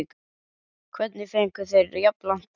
Hvernig fengu þeir jafn langt bann?